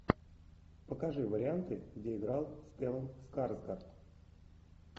покажи варианты где играл стеллан скарсгард